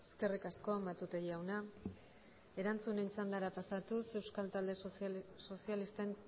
eskerrik asko matute jauna erantzunen txandara pasatuz euskal talde sozialisten